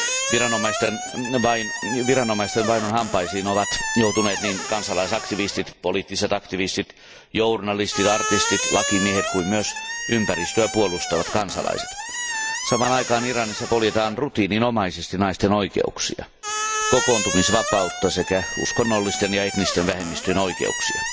Viranomaisten vainon hampaisiin ovat joutuneet niin kansalaisaktivistit, poliittiset aktivistit, journalistit, artistit, lakimiehet kuin myös ympäristöä puolustavat kansalaiset. Samaan aikaan Iranissa poljetaan rutiininomaisesti naisten oikeuksia, kokoontumisvapautta sekä uskonnollisten ja etnisten vähemmistöjen oikeuksia.